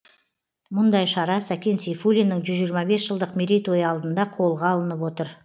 мұндай шара сәкен сейфулиннің жүз жиырма бес жылдық мерейтойы алдында қолға алынып отыр